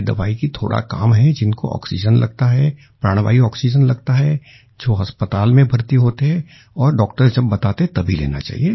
ये दवाई का थोडा काम है जिनको आक्सीजेन लगता है प्राण वायु आक्सीजेन लगता है जो अस्पताल में भर्ती होते हैं और डॉक्टर जब बताते हैं तभी लेना चाहिए